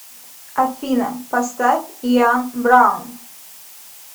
афина поставь иан браун